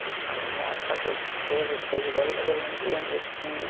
Então não é só que eu vejo depois de velho, mas eu lembro lembro de eu pequenininha.